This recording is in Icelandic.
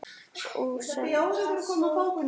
Og söngl.